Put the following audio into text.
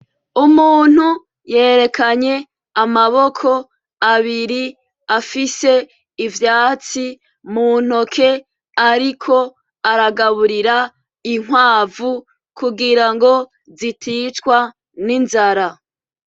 Umuntu yerekanye amaboko abiri afise ivyatsi muntoke ariko aragaburira inkwavu kugira ngo ziticwa n'inzara.